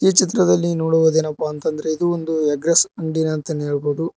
ಈ ಚಿತ್ರದಲ್ಲಿ ನೋಡುವುದೇನಪ್ಪಾ ಅಂತ ಅಂದ್ರೆ ಇದು ಒಂದು ಎಗ್ಗ್ರೆಸ್ ಅಂಗಡಿ ಅಂತಾನೆ ಹೇಳಬಹುದು.